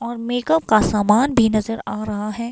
और मेकअप का सामान भी नज़र आ रहा है।